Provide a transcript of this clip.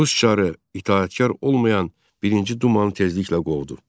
Rus çarı itaətkar olmayan birinci Dumanı tezliklə qovdu.